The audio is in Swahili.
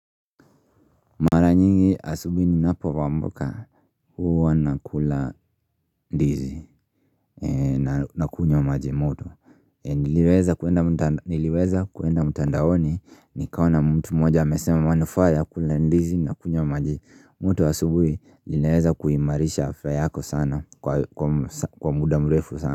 Mara nyingi asubuhi ninapovamka huwa nakula ndizi. Nakunywa maji moto. Niliweza kuenda mtandaoni nikaona mtu mmoja amesema manufaa ya kula ndizi na kunywa wa maji moto asubuhi linaweza kuimarisha afya yako sana kwa muda mrefu sana.